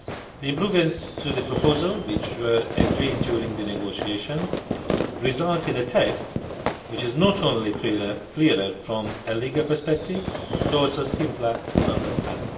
The improvements to the proposal, which were agreed during the negotiations, result in a text which is not only clearer from a legal perspective but also simpler to understand.